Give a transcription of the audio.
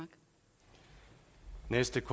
respekt